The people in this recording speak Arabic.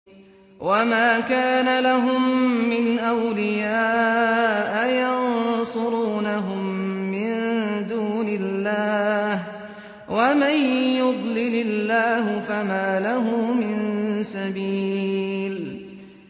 وَمَا كَانَ لَهُم مِّنْ أَوْلِيَاءَ يَنصُرُونَهُم مِّن دُونِ اللَّهِ ۗ وَمَن يُضْلِلِ اللَّهُ فَمَا لَهُ مِن سَبِيلٍ